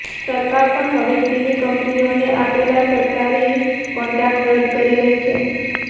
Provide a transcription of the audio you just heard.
સરકાર પણ હવે ચીની કંપનીઓને આપેલા સરકારી કોન્ટ્રાક્ટ રદ કરી રહી છે